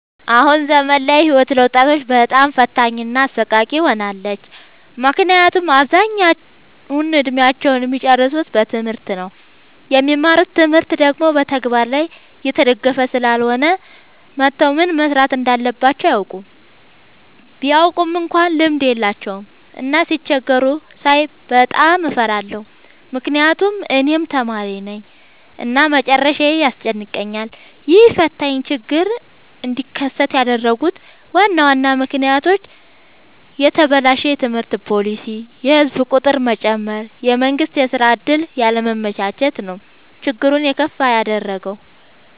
አሁን ዘመን ላይ ህይወት ለወጣቶች በጣም ፈታኝ እና አሰቃቂ ሆናለች። ምክንያቱም አብዛኛውን እድሜአቸውን እሚጨርሱት በትምህርት ነው። የሚማሩት ትምህርት ደግሞ በተግበር ላይ የተደገፈ ስላልሆነ ወተው ምን መስራት እንዳለባቸው አያውቁም። ቢያውቁ እንኳን ልምድ የላቸውም። እና ሲቸገሩ ሳይ በጣም እፈራለሁ ምክንያቱም እኔም ተማሪነኝ እና መጨረሻዬ ያስጨንቀኛል። ይህ ፈታኝ ችግር እንዲከሰት ያደረጉት ዋና ዋና ምክንያቶች፦ የተበላሸ የትምህርት ፓሊሲ፣ የህዝብ ቁጥር መጨመር፣ የመንግስት የስራ ዕድል ያለማመቻቸት ነው። ችግሩን የከፋ ያደረገው።